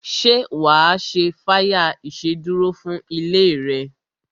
Ṣé wa ṣe fire ìsedúró fún ilé rẹ?